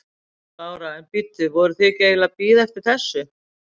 Lára: En bíddu, voruð þið ekki eiginlega að bíða eftir þessu?